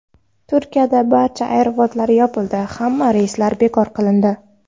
Turkiyadagi barcha aeroportlar yopildi, hamma reyslar bekor qilindi.